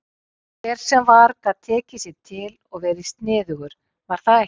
Hver sem var gat tekið sig til og verið sniðugur, var það ekki?